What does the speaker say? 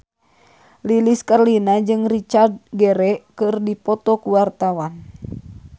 Lilis Karlina jeung Richard Gere keur dipoto ku wartawan